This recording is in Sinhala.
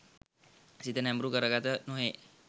සිත නැඹුරු කරගත නොහේ.